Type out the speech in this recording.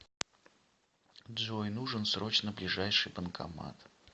джой нужен срочно ближайший банкомат